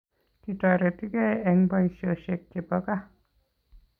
Kitoretigei eng boishoshek chepo kaa